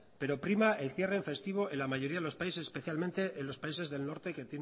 pero prima el cierre en festivo en la mayoría de los países especialmente en los países del norte que